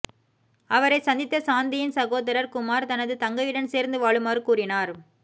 அவரை சந்தித்த சாந்தியின் சகோதரர் குமார் தனது தங்கையுடன் சேர்ந்து வாழுமாறு கூறினார்